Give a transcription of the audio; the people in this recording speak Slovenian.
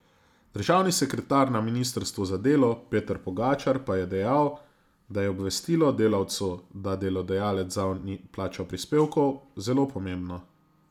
Državni sekretar na ministrstvu za delo Peter Pogačar pa je dejal, da je obvestilo delavcu, da delodajalec zanj ni plačal prispevkov, zelo pomembno.